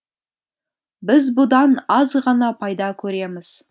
біз бұдан аз ғана пайда көреміз